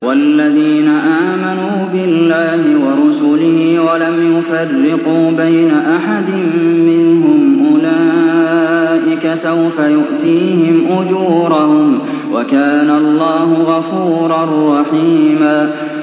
وَالَّذِينَ آمَنُوا بِاللَّهِ وَرُسُلِهِ وَلَمْ يُفَرِّقُوا بَيْنَ أَحَدٍ مِّنْهُمْ أُولَٰئِكَ سَوْفَ يُؤْتِيهِمْ أُجُورَهُمْ ۗ وَكَانَ اللَّهُ غَفُورًا رَّحِيمًا